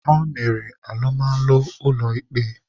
Ha mere alụmalụ ụlọ ikpe.